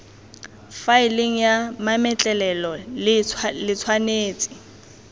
faeleng ya mametlelelo le tshwanetse